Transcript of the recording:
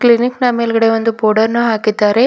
Elite ನಾ ಮೇಲ್ಗಡೆ ಒಂದು ಬೋರ್ಡ್ ಅನ್ನು ಹಾಕಿದ್ದಾರೆ.